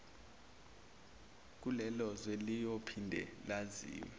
kulelozwe liyophinde lazise